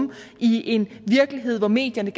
i en virkelighed hvor medierne